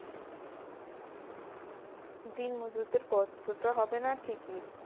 দিনমজুরদের কষ্টটা হবে না ঠিকই